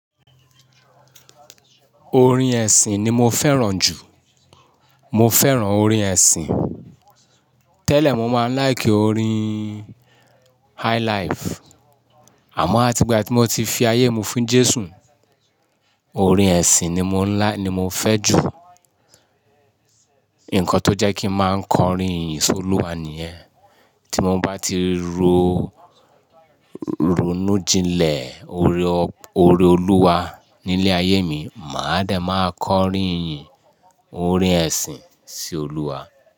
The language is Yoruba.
Orin ẹ̀sìn ni mo fẹ́ràn jù. Mo fẹ́ràn orin ẹ̀sìn. Tẹ́lẹ̀ mo máa ń láìkì orin highlife, àmọ́ àti ìgbà tí mo ti fi ayé mi fún Jésù, orin ẹ̀sìn ni mo ń láì- ni mo fẹ́ jù. Ǹkan tó jẹ́ kí ń máa kọrin ìyìn sí Olúwa nìyẹn. Tí mo bá ti ronú jinlẹ̀ ore Oluwa nílé ayé mi, máa dẹ̀ máa kọrin ìyìn, orin ẹ̀sìn sí Olúwa.